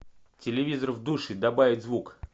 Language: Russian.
телевизор в душе добавить звук